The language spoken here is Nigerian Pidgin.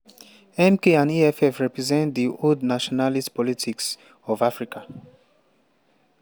"mk and eff represent di old nationalist politics of africa.